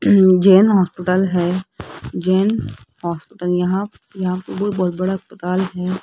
अं Jain hospital है Jain hospital यहां यहां पे बहुत बड़ा अस्पताल है।